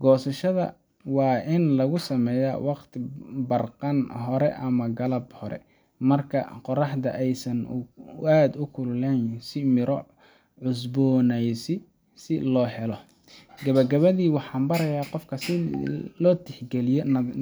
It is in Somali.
Goosashada waa in lagu sameeyaa waqti barqan hore ama galab hore, marka qorraxda aysan aad u kululayn, si miro cusboonaysi si loo helo. Gabagabadii, waxaan barayaa qofka in la tixgeliyo.